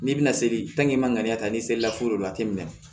N'i bɛna seli maliyɛn ta n'i se la furu la jateminɛ na